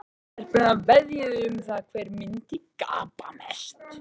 Stelpurnar veðjuðu um það hver myndi gapa mest.